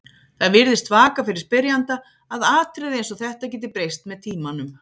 Það virðist vaka fyrir spyrjanda að atriði eins og þetta geti breyst með tímanum.